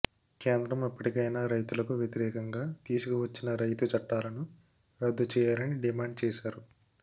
కేంద్రం ఇప్పటికైనా రైతులకు వ్యతిరేకంగా తీసుకువచ్చిన రైతు చట్టాలను రద్దు చేయాలని డిమాండ్ చేసారు